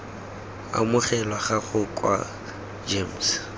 amogelwa ga gago kwa gems